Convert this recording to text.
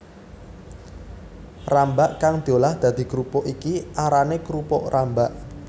Rambak kang diolah dadi krupuk iki arané krupuk rambak